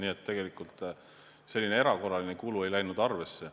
Nii et tegelikult selline erakorraline kulu ei läinud arvesse.